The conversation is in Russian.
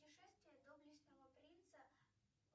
путешествие доблестного принца